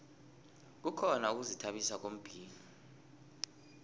kukhona ukuzithabisa ngombhino